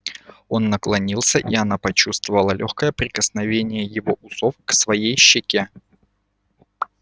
он наклонился и она почувствовала лёгкое прикосновение его усов к своей щеке